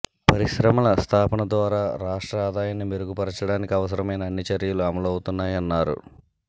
పరిశ్రమల స్థాపన ద్వారా రాష్ట్ర ఆదాయాన్ని మెరుగుపరచడానికి అవస రమైన అన్ని చర్యలు అమలు అవుతున్నాయ న్నారు